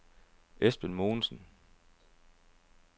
Esben Mogensen